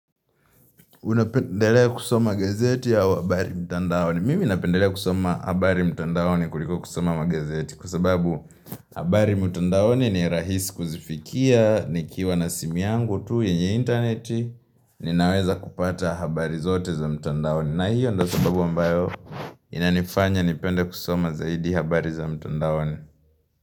Unapendelea kusoma gazeti au habari mtandaoni. Mimi napendelea kusoma habari mtandaoni kuliko kusoma magazeti kwa sababu habari mtandaoni ni rahisi kuzifikia, nikiwa na simu yangu tu yenye intaneti, ninaweza kupata habari zote za mtandaoni. Na hiyo ndo sababu ambayo inanifanya nipende kusoma zaidi habari za mtandaoni.